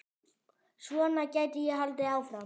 Svona gæti ég haldið áfram.